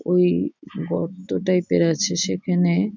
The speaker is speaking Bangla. ওই গর্ত টাইপ -এর আছে সেখানে--